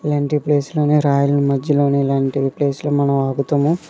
ఏంటి ప్లేస్ లోనే రాయల్ ఈ మధ్యలోనే ఇలాంటివి ప్లేస్ లో మనం ఆగుతాము.